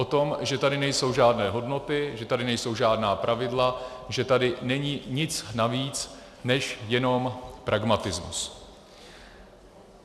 O tom, že tady nejsou žádné hodnoty, že tady nejsou žádná pravidla, že tady není nic navíc než jenom pragmatismus.